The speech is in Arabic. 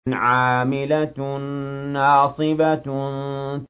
عَامِلَةٌ نَّاصِبَةٌ